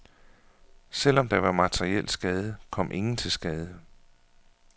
Selvom der var materiel skade, kom ingen til skade.